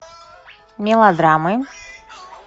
мелодрамы